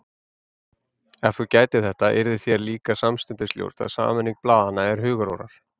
Ef þú gætir þetta, yrði þér líka samstundis ljóst að sameining blaðanna eru hugarórar.